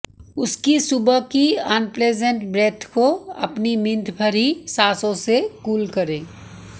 उसकी सुबह की अनप्लिजेंट ब्रेथ को अपनी मिंथ भरी सांसों से कूल करें